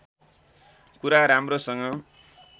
कुरा राम्रोसँग